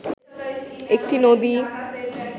একটি নদী